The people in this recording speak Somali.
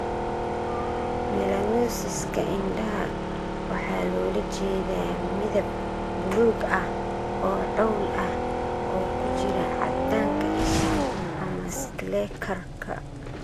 Melanosiska indhaha waxaa loola jeedaa midab buluug ah oo cawl ah oo ku jira 'caddanka isha' ama 'Scleekarka'